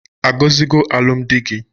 A gọzigo alụm di gi?